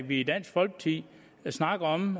vi i dansk folkeparti snakker om